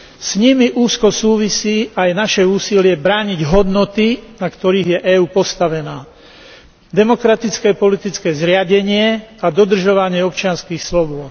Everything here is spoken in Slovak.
S nimi úzko súvisí aj naše úsilie brániť hodnoty, na ktorých je EÚ postavená demokratické politické zriadenie a dodržovanie občianskych slobôd.